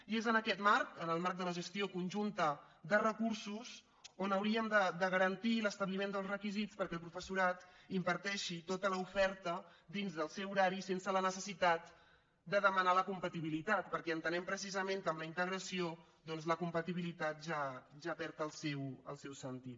i és en aquest marc en el marc de la gestió conjunta de recursos on hauríem de garantir l’establiment dels requisits perquè el professorat imparteixi tota l’oferta dins del seu horari sense la necessitat de demanar la compatibilitat perquè entenem precisament que amb la integració la compatibilitat ja perd el seu sentit